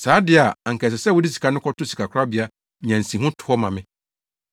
Saa de a anka ɛsɛ sɛ wode sika no kɔto sikakorabea nya nsiho to hɔ ma me.